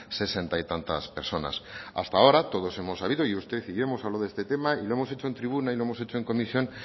sesenta y tantas personas hasta ahora todos hemos sabido y usted y yo hemos hablado de este tema y lo hemos hecho en tribuna y lo hemos hecho en comisión